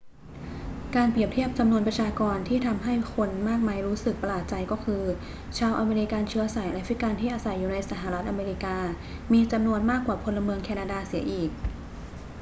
การเปรียบเทียบจำนวนประชากรที่ทำให้คนมากมายรู้สึกประหลาดใจก็คือ ชาวอเมริกันเชื้อสายแอฟริกันที่อาศัยอยู่ในสหรัฐอเมริกามีจำนวนมากกว่าพลเมืองแคนาดาเสียอีก